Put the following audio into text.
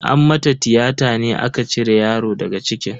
An mata tiyata ne aka cire yaro daga cikin.